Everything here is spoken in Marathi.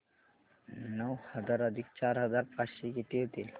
नऊ हजार अधिक चार हजार पाचशे किती होतील